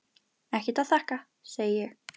Ekkert að þakka, segi ég.